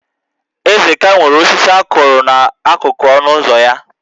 Ezeka nwere osisi a kụrụ n'akụkụ ọnụ ụzọ ya